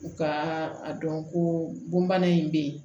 U ka a dɔn ko bon bana in bɛ yen